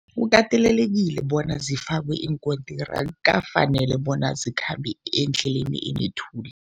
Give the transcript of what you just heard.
Kukatelelekile bona zifakwe iinkontiri, akukafaneli bona zikhambe endleleni enethuli.